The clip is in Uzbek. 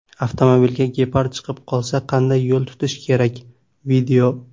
Avtomobilga gepard chiqib qolsa qanday yo‘l tutish kerak: video.